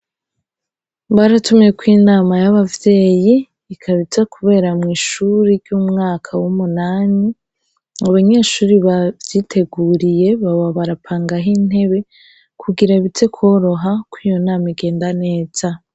Mwaratumyeko Inama y'abavyeyi, ikaba iza kubera mw'ishure ry'umwaka w'umunani. Abanyeshure bavyiteguriye baba barapangaho intebe kugira bize koroha ko iyo nama igenda neza.